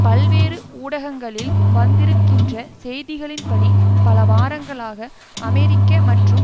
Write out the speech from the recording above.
பல்வேறு ஊடகங்களில் வந்திருக்கின்ற செய்திகளின்படி பல வாரங்களாக அமெரிக்க மற்றும்